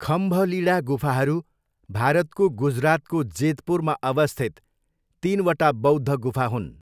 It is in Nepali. खम्भलिडा गुफाहरू, भारतको गुजरातको जेतपुरमा अवस्थित तिनवटा बौद्ध गुफा हुन्।